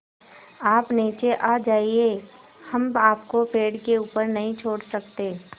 आप नीचे आ जाइये हम आपको पेड़ के ऊपर नहीं छोड़ सकते